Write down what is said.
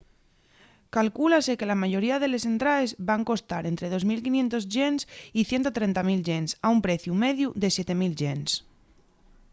calcúlase que la mayoría de les entraes van costar ente 2.500 ¥ y 130.000 ¥ a un preciu mediu de 7.000 ¥